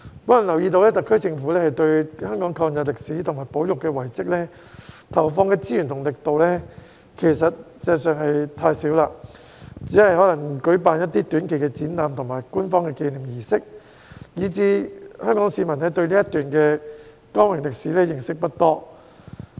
我留意到，特區政府對香港抗日歷史及保育遺蹟上投放的資源和力度，事實上是太少，可能只是舉辦一些短期展覽和官方紀念儀式，令香港市民對這段光榮歷史認識不多。